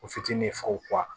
O fitinin faga